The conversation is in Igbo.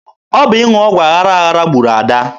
Ọ bụ ịṅụ ọgwụ aghara aghara gburu Ada.